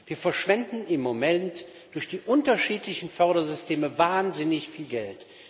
Wir verschwenden im Moment durch die unterschiedlichen Fördersysteme wahnsinnig viel Geld.